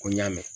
Ko n y'a mɛn